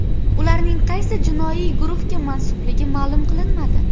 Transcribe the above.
Ularning qaysi jinoiy guruhga mansubligi ma’lum qilinmadi.